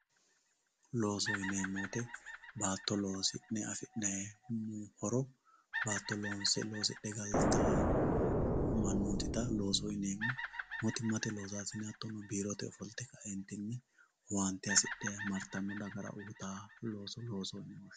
Loosoho yinemo woyite baato loosi'nne afi'nnayi horo baato loose loosidhe galitawo manotita loosoho yinnemo mootumate loosasinne ofolite kaeenitinni owaanite hasidhe maritano dagara uuyitanno owaante loosoho yi'neemo.